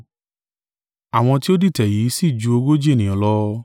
Àwọn tí ó dìtẹ̀ yìí sì ju ogójì ènìyàn lọ.